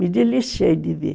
Me deliciei de ver.